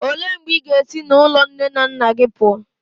Olee mgbe ị ga-esi n'ụlọ nne na nna gị pụọ?